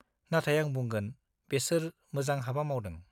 नाथाय आं बुंगोन, बेसोर मोजां हाबा मावदों।